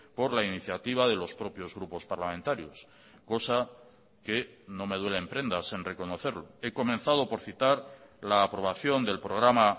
por la iniciativa de los propios grupos parlamentarios cosa que no me duele en prendas en reconocerlo he comenzado por citar la aprobación del programa